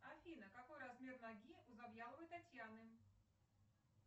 афина какой размер ноги у завьяловой татьяны